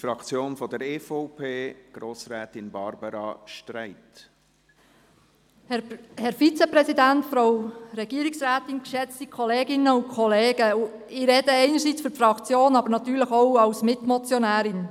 Ich spreche einerseits für die Fraktion, aber andererseits natürlich auch als Mitmotionärin.